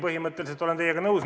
Põhimõtteliselt olen teiega nõus.